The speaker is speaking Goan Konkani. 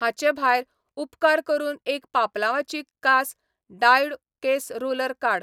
हाचे भायर, उपकार करून एक पापलांवाची कास डायोउ केंस रोलर काड.